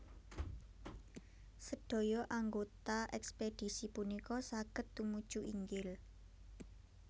Sedaya anggota ekspedisi punika saged tumuju inggil